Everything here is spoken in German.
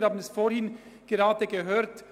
Wir haben es vorhin gehört: